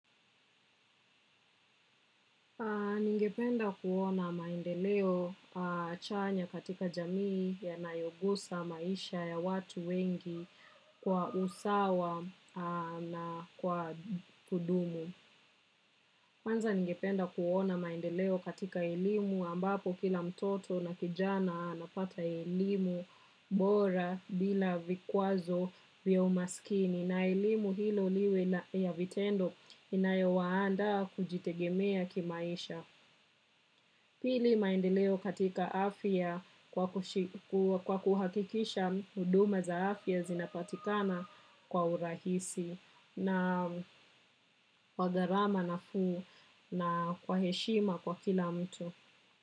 Ningependa kuona maendeleo chanya katika jamii yanayogusa maisha ya watu wengi kwa usawa na kwa kudumu. Kwanza ningependa kuona maendeleo katika elimu ambapo kila mtoto na kijana anapata elimu bora bila vikwazo vya masikini na elimu hio iwe ya vitendo inayowaandaa kujitegemea kimaisha. Pili maendeleo katika afya kwa kuhakikisha huduma za afya zinapatikana kwa urahisi na wa gharama nafuu na kwa heshima kwa kila mtu.